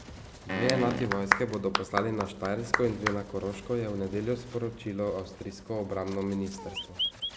Dve enoti vojske bodo poslali na Štajersko in dve na Koroško, je v nedeljo sporočilo avstrijsko obrambno ministrstvo.